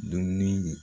Dumuni